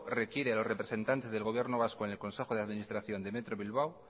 requiere a los representantes del gobierno vasco en el consejo de administración de metro bilbao